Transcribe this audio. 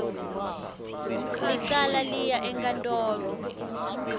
licala liya enkantolo